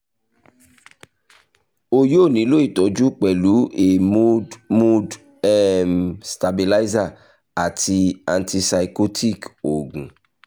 o yoo nilo itọju pẹlu a mood mood um stabilizer ati antipsychotic oogun